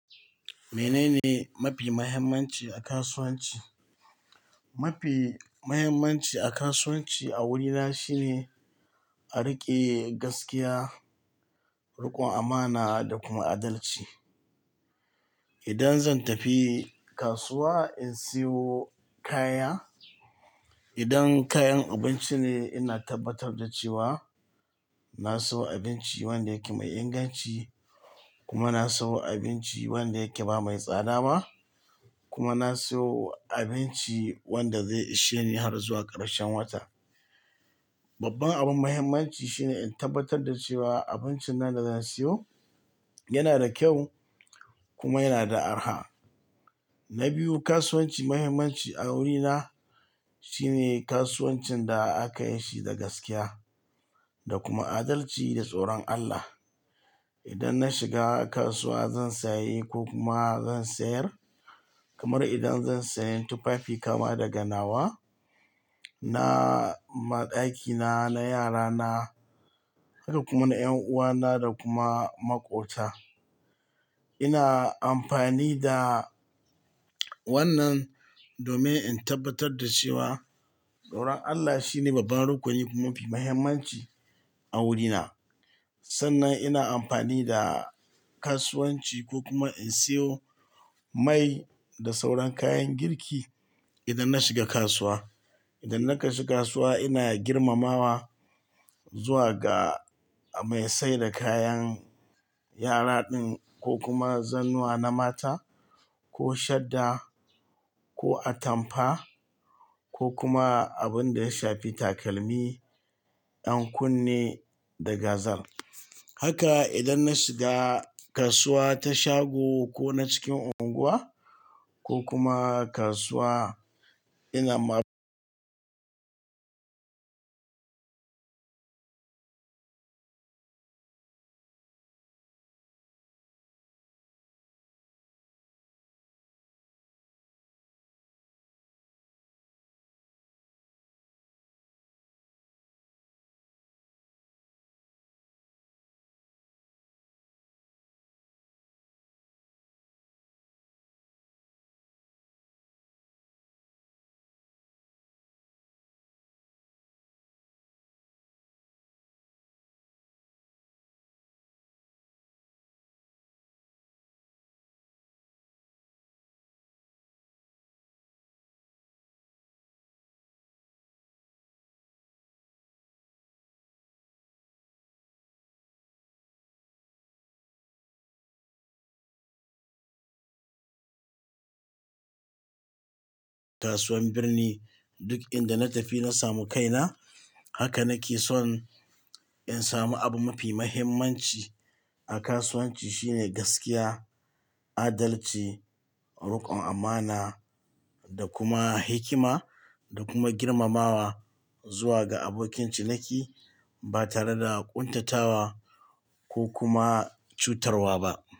Menene mafi muhimmanci a kasuwanci? Mafi muhimmanci a kasuwanci a wurina shine a riƙe gaskiya, riƙon amana da kuma adalci. Idan zan tafi kasuwa in siyo kaya, idan kayan abinci ne ina tabbatar da cewa na siyo abinci wanda yake mai inganci kuma na siyo abinci wanda yake ba mai tsada ba kuma na siyo abinci wanda zai ishe ni har zuwa ƙarshen wata. Babban abin muhimmanci shine in tabbatar da cewa abincin nan da zan siyo yana da kyau kuma yana da araha. Na biyu, kasuwanci muhimmanci a wurina shine kasuwancin da aka yi shi da gaskiya da kuma adalci da tsoron Allah. Idan na shiga kasuwa zan sayi ko kuma zan sayar, kamar idan zan sayen tufafi kama daga nawa, na maɗakina, na yarana, haka kuma na ƴan uwana da kuma maƙota. Ina amfani da wannan domin in tabbatar da cewa tsoron Allah shine babban rukuni kuma mafi muhimmanci a wurina. Sannan ina amfani da kasuwanchi ko kuma in siyo mai da sauran kayan girki idan na shiga kasuwa idan naka shiga kasuwa ina girmamawa zuwa ga mai saida kayan yara ɗin ko kuma zannuwa na mata ko shadda ko atampa ko kuma abin da ya shafi takalmi, ƴan kunne da gazar. Haka idan na shiga kasuwa ta shago ko na cikin unguwa ko kuma kasuwa ina ma- kasuwan burni duk inda na tafi na samu kaina. Haka nake son in samu abu mafi muhimmanci a kasuwanci shine gaskiya, adalchi, riƙon amana da kuma hikima da kuma girmamawa zuwa ga abokinci niki ba tare da ƙuntatawa ko kuma cutarwa ba.